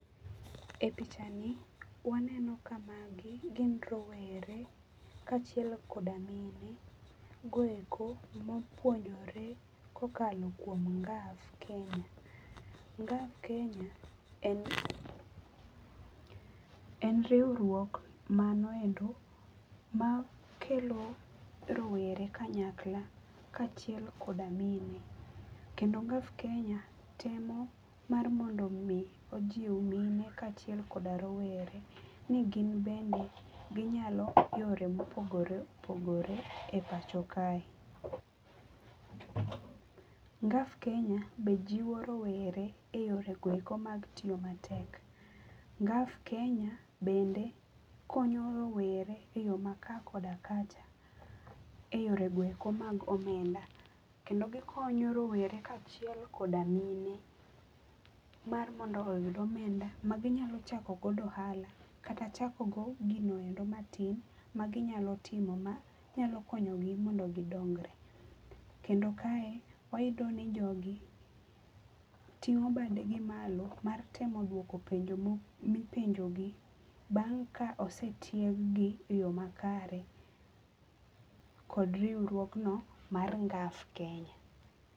E pichani, waneno ka magi gin rowere kaachiel koda mine go eko mopuonjore kokalo kuom NGAF KENYA. NGAF KENYA en riwruok mano endo makelo rowere kanyakla kaachiel koda mine. Kendo NGAF KENYA temo mar mondo omi ojiw mine kaachiel koda rowere ni gin bende ginyalo yore mopogore opogore e pacho kae. NGAF KENYA be jiwo rowere e yore go eko mag tiyo matek. NGAF KENYA bende konyo rowere e yo mar kaa koda kacha e yore go eko mag omenda. Kendo gikonyo rowere kaachiel koda mine mar mondo oyud omenda ma gi nyalo chako godo ohala kata chakogo gino endo matin maginyalo timo manyalo konyogi mondo gidongre. Kendo kae, wayudo ni jogi ting'o badegi malo, mar temo dwoko penjo mipenjogi bang' ka osetieng'gi e yo makare kod riwruogno mar NGAF KENYA.